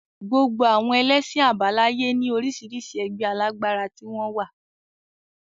Gbogbo àwọn ẹlẹ́sìn àbáláyé ní orísirísi ẹgbẹ́ alágbára tí wọ́n wà